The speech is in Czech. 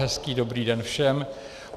Hezký dobrý den všem.